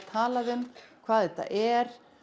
talað um hvað þetta er